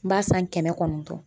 N b'a san kɛmɛ kɔnɔntɔn